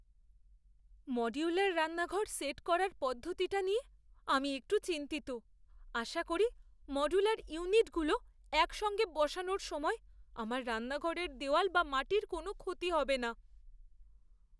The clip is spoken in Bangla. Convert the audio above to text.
মডুলার রান্নাঘর সেট করার প্রদ্ধতিটা নিয়ে আমি একটু চিন্তিত। আশা করি মডুলার ইউনিটগুলো একসঙ্গে বসানো র সময় আমার রান্নাঘরের দেওয়াল বা মাটির কোনও ক্ষতি হবেনা।